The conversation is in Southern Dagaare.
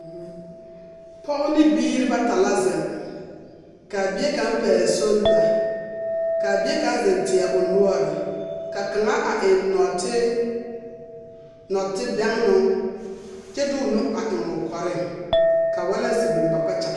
Pɔge ne biiri bata la zeŋ ka a bie kaŋ pɛgle solda ka a bie kaŋ zeŋ teɛ o noɔre ka kaŋa a eŋ nɔɔte nɔɔtebɛŋnoo kyɛ de o nu a eŋ o kɔreŋ ka waalansi biŋ ba kpakyaga.